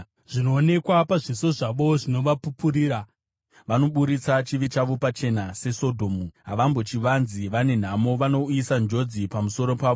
Zvinoonekwa pazviso zvavo zvinovapupurira; vanoburitsa chivi chavo pachena seSodhomu; havambochivanzi. Vane nhamo! Vanouyisa njodzi pamusoro pavo.